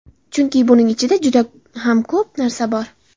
Chunki buning ichida juda ham ko‘p narsa bor.